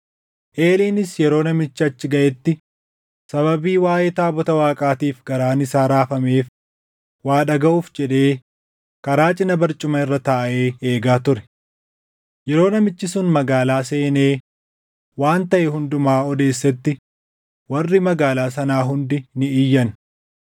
Eeliinis yeroo namichi achi gaʼetti sababii waaʼee taabota Waaqaatiif garaan isaa raafameef waa dhagaʼuuf jedhee karaa cina barcuma irra taaʼee eegaa ture. Yeroo namichi sun magaalaa seenee waan taʼe hundumaa odeessetti warri magaalaa sanaa hundi ni iyyan.